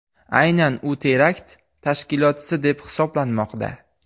Aynan u terakt tashkilotchisi deb hisoblanmoqda.